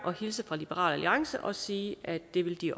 at hilse fra liberal alliance og sige at det vil de